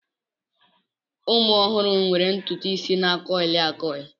Ụmụ ọhụrụ nwere ntutu isi na a kuili a kuili.